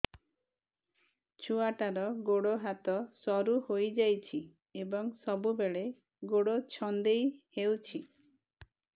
ଛୁଆଟାର ଗୋଡ଼ ହାତ ସରୁ ହୋଇଯାଇଛି ଏବଂ ସବୁବେଳେ ଗୋଡ଼ ଛଂଦେଇ ହେଉଛି